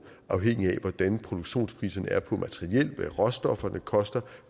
afhængigt af hvordan produktionspriserne er på materiel af hvad råstofferne koster